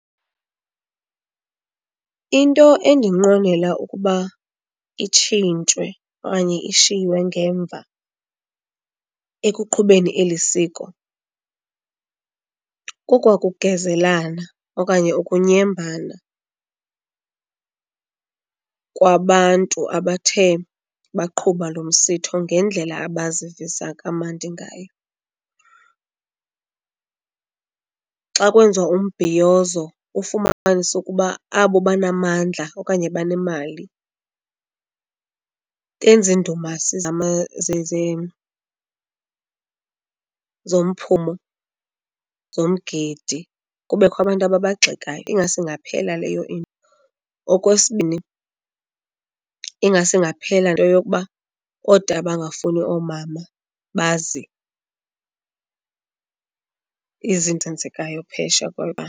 Into endinqwenela ukuba itshintshwe okanye ishiywe ngemva ekuqhubeni eli siko, kokwakugezelana okanye ukunyembana kwabantu abathe baqhuba lo msitho ngendlela abazivisa kamandi ngayo. Xa kwenziwa umbhiyozo ufumanise ukuba abo banamandla okanye banemali benza indumasi zomphumo, zomgidi kubekho abantu ababagxekayo, ingase ingaphela leyo into. Okwesibini, ingase ingaphela into yokuba bangafuni oomama bazi izinto zenzekayo .